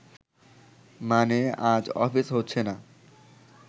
মানে, আজ অফিস হচ্ছে না